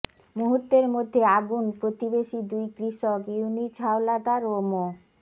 মুহুর্তের মধ্যে আগুন প্রতিবেশী দুই কৃষক ইউনুছ হাওলাদার ও মো